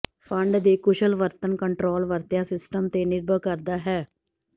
fund ਦੇ ਕੁਸ਼ਲ ਵਰਤਣ ਕੰਟਰੋਲ ਵਰਤਿਆ ਸਿਸਟਮ ਤੇ ਨਿਰਭਰ ਕਰਦਾ ਹੈ